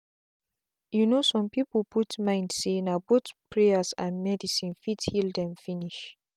you know some people put mind say na both prayers and medicine fit heal them finish.